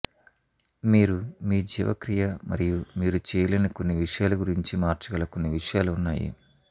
మీరు మీ జీవక్రియ మరియు మీరు చేయలేని కొన్ని విషయాలు గురించి మార్చగల కొన్ని విషయాలు ఉన్నాయి